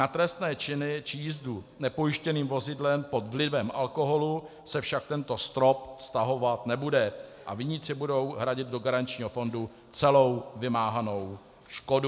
Na trestné činy či jízdu nepojištěným vozidlem pod vlivem alkoholu se však tento strop vztahovat nebude a viníci budou hradit do garančního fondu celou vymáhanou škodu.